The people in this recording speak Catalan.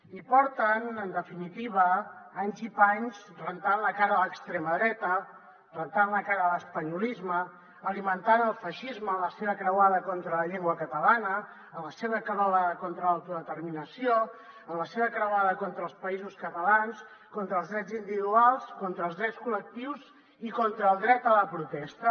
i porten en definitiva anys i panys rentant la cara a l’extrema dreta rentant la cara a l’espanyolisme alimentant el feixisme en la seva croada contra la llengua catalana en la seva croada contra l’autodeterminació en la seva croada contra els països catalans contra els drets individuals contra els drets col·lectius i contra el dret a la protesta